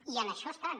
i en això estan